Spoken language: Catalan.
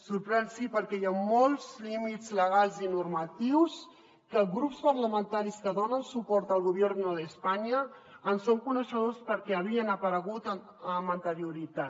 sorprèn sí perquè hi ha molts límits legals i normatius que els grups parlamentaris que donen suport al gobierno de españa en són coneixedors perquè havien aparegut amb anterioritat